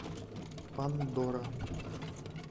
пандора